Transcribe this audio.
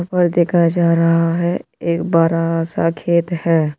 और देखा जा रहा है एक बड़ा सा खेत है।